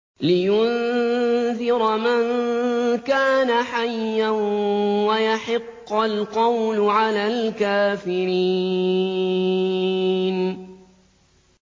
لِّيُنذِرَ مَن كَانَ حَيًّا وَيَحِقَّ الْقَوْلُ عَلَى الْكَافِرِينَ